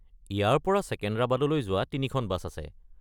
ইয়াৰ পৰা ছেকেন্দ্ৰাবাদলৈ যোৱা তিনিখন বাছ আছে।